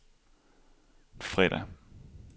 fredag